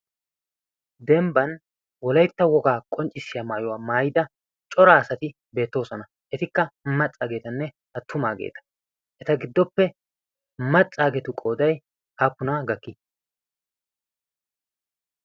dembban wolaitta wogaa qonccissiyaa maayuwaa maayida cora asati beettoosona etikka maccaageetanne attumaageeta eta giddoppe maccaageetu qoodai aappuna gakki?